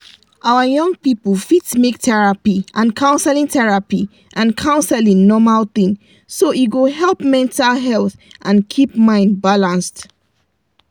our young people fit make therapy and counseling therapy and counseling normal thing so e go help mental health and keep mind balanced.